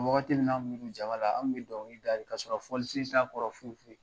Wagati min na an kun jaba la an kun bɛ dɔnkili da de k'a sɔrɔ fɔlisen t'a kɔrɔ fɔyi.